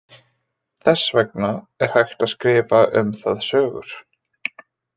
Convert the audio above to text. Þess vegna er hægt að skrifa um það sögur.